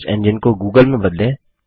search engine को Google में बदलें